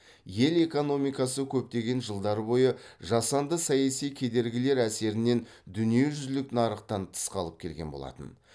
ел экономикасы көптеген жылдар бойы жасанды саяси кедергілер әсерінен дүниежүзілік нарықтан тыс қалып келген болатын